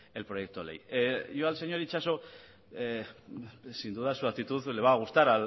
el proyecto de ley yo al señor itxaso sin duda su actitud le va a gustar